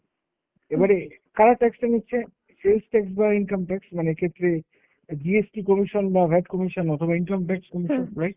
এবারে করা tax টা নিচ্ছে? sales tax বা income tax, মানে এক্ষেত্রে GST commission বা VAT commission অথবা income tax commission right?